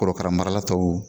Korokara marala tɔw.